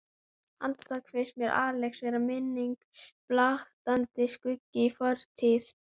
Andartak finnst mér Axel vera minning, blaktandi skuggi í fortíð.